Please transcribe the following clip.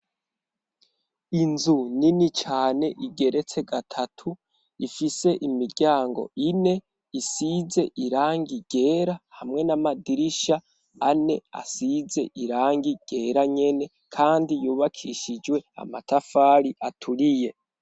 Inzu nini cane igeretse gatatu ifise imiryango ine isize iranga igera hamwe n'amadirisha ane asize irangi igera nyene, kandi yubakishijwe amatafari aturiye.